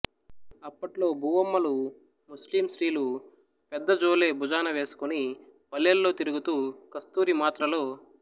అప్పట్లో బూవమ్మలు ముస్లిం స్త్రీలు పెద్ద జోలె భుజాన వేసుకొని పల్లేల్లో తిరుగుతూ కస్తూరి మాత్రలో